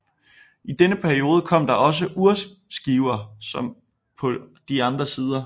I denne periode kom der også urskiver på de andre sider